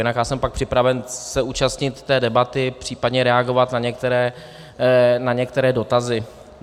Jinak já jsem pak připraven se účastnit té debaty, případně reagovat na některé dotazy.